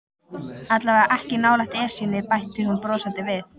Allavega ekki nálægt Esjunni bætti hún brosandi við.